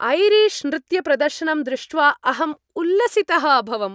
Irish नृत्यप्रदर्शनं दृष्ट्वा अहम् उल्लसितः अभवम्।